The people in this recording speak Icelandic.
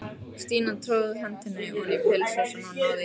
Stína tróð hendinni oní pilsvasann og náði í lykil.